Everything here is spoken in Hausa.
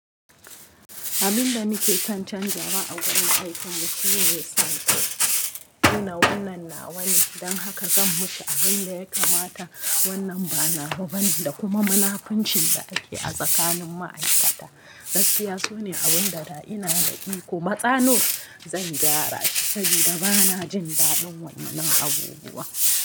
Abun da nake kan canjawa a wurin aikin mu su ne sata. Nuna wannan nawa ne don haka zan mashi abin da ya kamata. Wannan ba nawa bane da kuma munafunci da ake a tsakanin ma'aikata. Gaskiya so ne abun da da ina daɗi kuma tsano zan gyara shi saboda ba na jin daɗin wannan abubuwa.